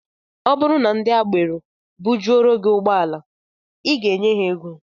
Ọ bụrụ na ndị agbero bujuoro gị ụgbọala, I ga-enye ha ego